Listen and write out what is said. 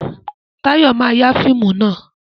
Táyọ̀ ma ya fíìmù náà